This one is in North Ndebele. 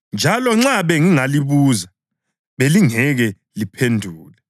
njalo nxa bengingalibuza belingeke liphendule.